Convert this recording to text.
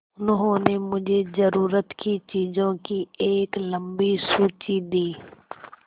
उन्होंने मुझे ज़रूरत की चीज़ों की एक लम्बी सूची दी